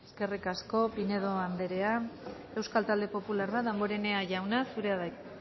eskerrik asko pinedo andrea euskal talde popularra damborenea jauna zurea da hitza